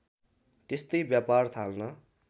त्यस्तै व्यापार थाल्न